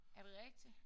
Er det rigtigt?